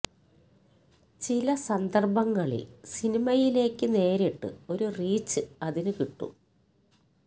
ചില സന്ദർഭങ്ങളിൽ സിനിമയിലേക്ക് നേരിട്ട് ഒരു റീച് അതിനു കിട്ടും